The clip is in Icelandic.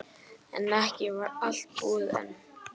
En ekki var allt búið enn.